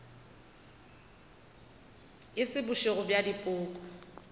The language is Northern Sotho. e se bošego bja dipoko